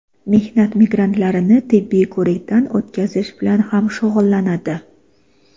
mehnat migrantlarini tibbiy ko‘rikdan o‘tkazish bilan ham shug‘ullanadi.